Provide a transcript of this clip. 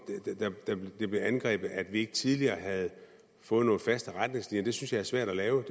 det blev angrebet at vi ikke tidligere havde fået nogle faste retningslinjer synes jeg er svært at lave